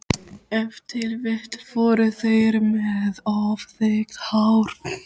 Ef til vill voru þeir með of þykkt hár.